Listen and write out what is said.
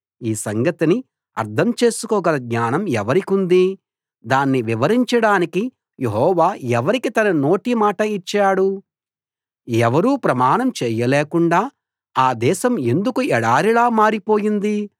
ఈ సంగతిని అర్థం చేసుకోగల జ్ఞానం ఎవరికుంది దాన్ని వివరించడానికి యెహోవా ఎవరికి తన నోటి మాట ఇచ్చాడు ఎవరూ ప్రయాణం చేయలేకుండా ఆ దేశం ఎందుకు ఎడారిలా మారిపోయింది